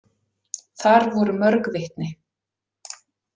Þar voru mörg vitni.